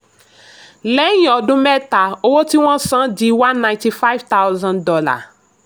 lẹ́yìn ọdún mẹ́ta owó ti wọ́n san di one hundred ninety five thousand dollars